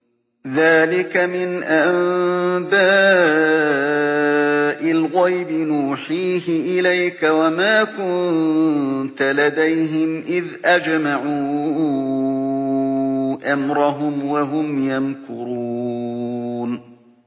ذَٰلِكَ مِنْ أَنبَاءِ الْغَيْبِ نُوحِيهِ إِلَيْكَ ۖ وَمَا كُنتَ لَدَيْهِمْ إِذْ أَجْمَعُوا أَمْرَهُمْ وَهُمْ يَمْكُرُونَ